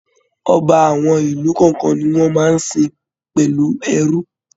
Ọba àwọn ìlú kọọkan ní wọn máa n sìn pẹlú ẹrú.